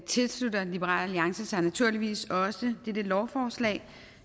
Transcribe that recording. tilslutter liberal alliance sig naturligvis også dette lovforslag